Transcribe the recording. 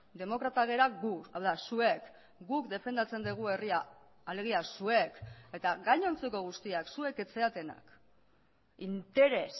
demokratak gara gu hau da zuek guk defendatzen dugu herria alegia zuek eta gainontzeko guztiak zuek ez zaretenak interes